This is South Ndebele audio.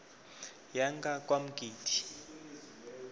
yangakwamgidi